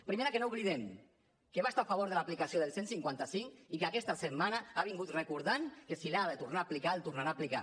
primera que no oblidem que va estar a favor de l’aplicació del cent i cinquanta cinc i que aquesta setmana ha vingut recordant que si l’ha de tornar a aplicar el tornarà a aplicar